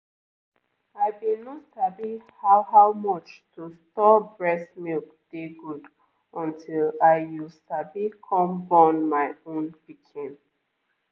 i been no sabi how how much to store breast milk dey good until i you sabi come born my own pikin